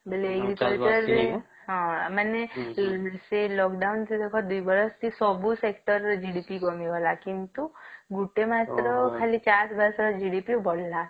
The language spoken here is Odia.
ହଁ ମାନେ ସିଏ lockdown ଜକ ଦୁଇ ବରଷ କି ସବୁ sector ରେ GDP କମି ଗଲା ଗୋଟିଏ ମାସ ର କବଳ ମାସ ର GDP ବଢିଲା